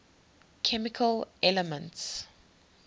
chemical elements